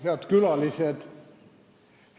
Head külalised!